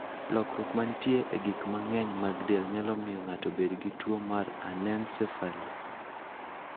Lokruok ma nitie e gik mang'eny mag del nyalo miyo ng'ato obed gi tuwo mar anencephaly.